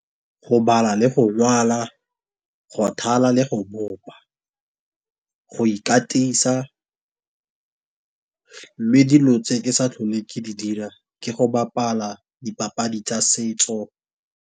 Go bala le go ngwala go thala le go bopa, go ikatisa, mme dilo tse ke sa tlholeng ke di dira ke go bapala dipapadi tsa setso.